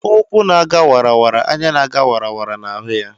Ụkwụ́ na-aga wara wara; anya na-aga wara wara na-ahụ ya.